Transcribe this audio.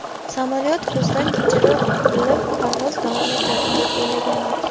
Samolyot ko‘zdan kechirilib, parvoz davom etadi deb o‘ylagandik.